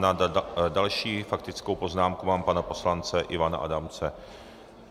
Na další faktickou poznámku mám pana poslance Ivana Adamce.